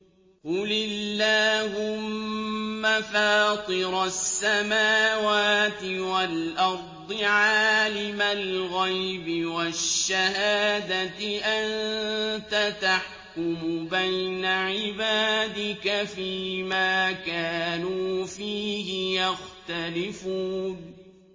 قُلِ اللَّهُمَّ فَاطِرَ السَّمَاوَاتِ وَالْأَرْضِ عَالِمَ الْغَيْبِ وَالشَّهَادَةِ أَنتَ تَحْكُمُ بَيْنَ عِبَادِكَ فِي مَا كَانُوا فِيهِ يَخْتَلِفُونَ